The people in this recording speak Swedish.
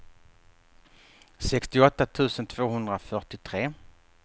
sextioåtta tusen tvåhundrafyrtiotre